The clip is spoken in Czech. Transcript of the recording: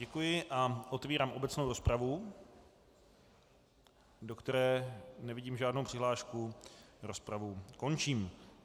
Děkuji a otevírám obecnou rozpravu, do které nevidím žádnou přihlášku, rozpravu končím.